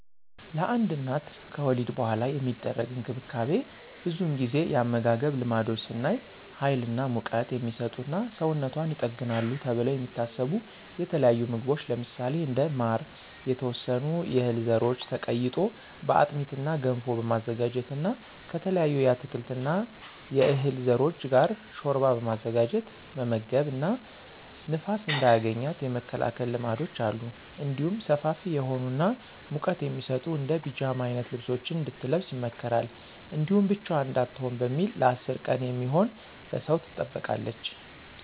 ለአንድ እናት ከወሊድ በኃላ የሚደረግ እንክብካቤ ብዙውን ጊዜ የአመጋገብ ልማዶች ስናይ ሀይል እና ሙቀት" የሚሰጡ እና ሰውነቷን ይጠግናሉ ተብለው የሚታሰቡ የተለያዩ ምግቦች ለምሳሌ እንደ ማር፣ የተወሰኑ የህል ዘሮች ተቀይጦ በአጥሚት እና ገንፎ በማዘጋጀት እና ከተለያዩ የአትክልት እና የዕህል ዘሮች ጋር ሾርባ በማዘጋጀት መመገብ እና ንፋስ እንዳያገኛት የመከላከል ልማዶች አሉ። እንዲሁም ሰፋፊ የሆኑ እና ሙቀት የሚሰጡ እንደ ፒጃማ አይነት ልብሶችን እንድትለብስ ይመከራል። እንዲሁም ብቻዋን እንዳትሆን በሚል ለ10 ቀን የሚሆን በሰው ትጠበቃለች።